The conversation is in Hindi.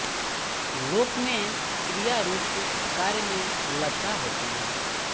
लोक में क्रिया रूप कार्य में लक्षणा होती है